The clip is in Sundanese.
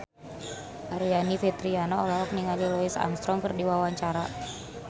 Aryani Fitriana olohok ningali Louis Armstrong keur diwawancara